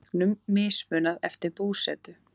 Þegnum mismunað eftir búsetu